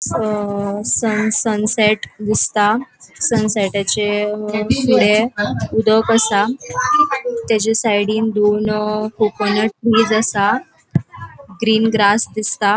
अ sun sunset दिसता अ सन्सेटा चे फुड़े उदक आसा तेचा सायडीन दोन कोकोनट आसा ग्रीन ग्रास दिसता.